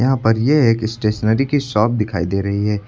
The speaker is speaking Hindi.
यहां पर ये एक स्टेशनरी की शॉप दिखाई दे रही है।